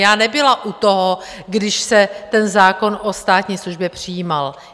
Já nebyla u toho, když se ten zákon o státní službě přijímal.